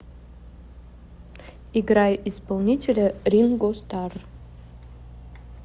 играй исполнителя ринго старр